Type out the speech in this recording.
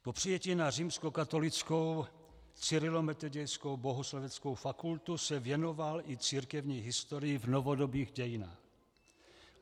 Po přijetí na Římskokatolickou cyrilometodějskou bohosloveckou fakultu se věnoval i církevní historii v novodobých dějinách.